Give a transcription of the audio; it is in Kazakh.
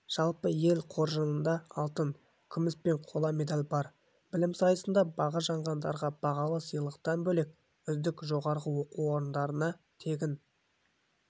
жалпы ел қоржынында алтын күміс пен қола медаль бар білім сайысында бағы жанғандарға бағалы сыйлықтан бөлек үздік жоғарғы оқу орындарында тегін